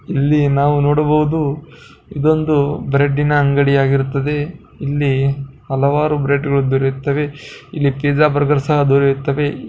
ಇಲ್ಲಿ ನಾವು ನೋಡಬಹುದು ಇದೊಂದು ಬ್ರೆಡ್ಡಿನ ಅಂಗಡಿ ಇಲ್ಲಿ ಹಲವಾರು ಬ್ರೆಡ್ಗಳು ದೊರೆಯುತ್ತವೆ ಇಡೀ ಪಿಜ್ಜಾ ಬರ್ಗರ್ ಕೂಡ ದೊರೆಯುತ್ತದೆ.